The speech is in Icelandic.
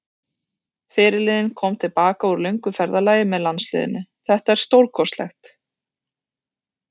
Fyrirliðinn kom til baka úr löngu ferðalagi með landsliðinu, þetta er stórkostlegt.